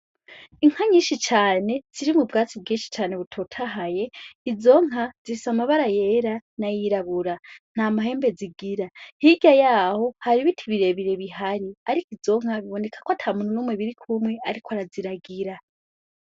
Inka nyinshi cane ziri mu bwatsi bwinshi cane butotahaye, izo nka zifise amabara yera n'ayirabura, nta mahembe zigira. Hirya y'aho hari ibiti birebire bihari, ariko izo nka biboneka ko ata muntu numwe birikumwe ariko araziragira.